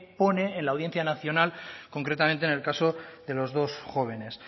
pone en la audiencia nacional concretamente en el caso de los dos jóvenes